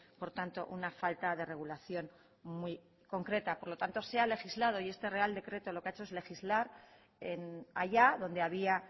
por tanto una falta de regulación muy concreta por lo tanto se ha legislado y este real decreto lo que ha hecho es legislar allá donde había